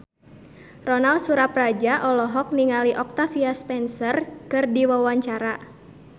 Ronal Surapradja olohok ningali Octavia Spencer keur diwawancara